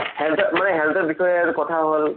মানে health ৰ বিষয়ে কথা হ'ল